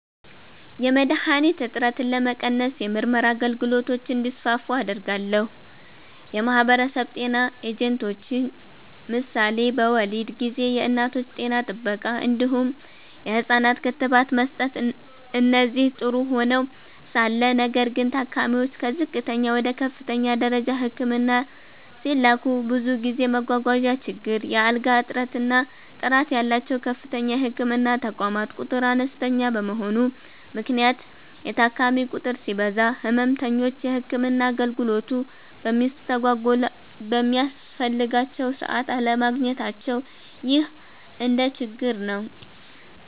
.የመድሀኒት እጥረትን ለመቀነስ የምርመራ አገልግሎቶች እንዲስፋፉ አደርጋለሁ። .የማህበረሰብ ጤና ኤጀንቶች ምሳሌ በወሊድ ጊዜ የእናቶች ጤና ጥበቃ እንዲሁም የህፃናት ክትባት መስጠት እነዚህ ጥሩ ሆነዉ ሳለ ነገር ግን ታካሚዎች ከዝቅተኛ ወደ ከፍተኛ ደረጃ ህክምና ሲላኩ ብዙ ጊዜ መጓጓዣ ችግር፣ የአልጋ እጥረት እና ጥራት ያላቸዉ ከፍተኛ የህክምና ተቋማት ቁጥር አነስተኛ በመሆኑ ምክንያት የታካሚ ቁጥር ሲበዛ ህመምተኞች የህክምና አገልግሎቱ በሚያስፈልጋቸዉ ሰዓት አለማግኘታቸዉ ይህ አንድ ችግር ነዉ።